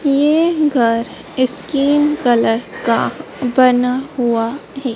ये घर skin colour का बना हुआ हैं।